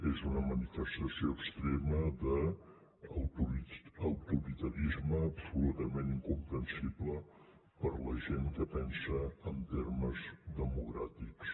és una manifestació extrema d’autoritarisme absolutament incomprensible per a la gent que pensa en termes democràtics